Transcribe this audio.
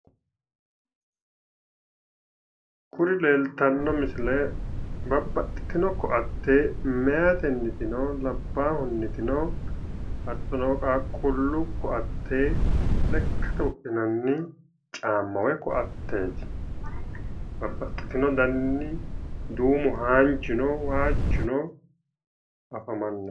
Kuri leeltanno misile babbaxxitino koaate meyaatennino labbahunnitino hattono qaaqqulu koaate lekkate wodhinanni caamma woy koaateeti babbaxxitino daninni duumu haanjuno waajjuno afamanno